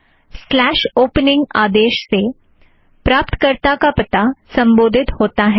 slash opening opening आदेश से प्राप्तकर्ता का पता संबोधित होता है